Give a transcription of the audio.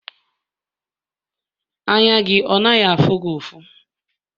anya gị ọ na afugị ọfu?